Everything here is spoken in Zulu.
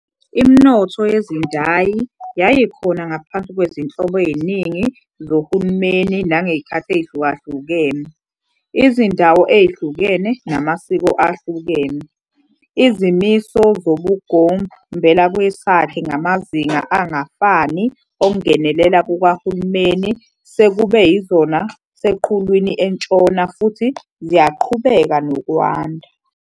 Iminotho yezindayi yayikhona ngaphansi kwezinhlobo eziningi zohlumeni nangezikhathi ezihlulahlukene, izindawo ezihlukene namasiko ahlukene. Izimiso zobugombelakwesakhe ngamazinga angafani okungenelela kokuhulumeni sekube yizona seqhulwini entshona futhi ziyaqhubeka nokwanda.